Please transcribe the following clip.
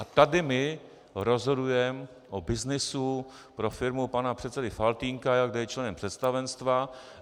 A tady my rozhodujeme o byznysu pro firmu pana předsedy Faltýnka, kde je členem představenstva.